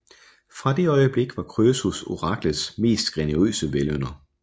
Fra det øjeblik var Krøsus oraklets mest generøse velynder